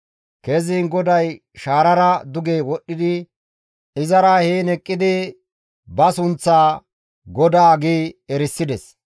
Keziin GODAY shaarara duge wodhdhi izara heen eqqidi ba sunththaa, «GODAA» gi erisides.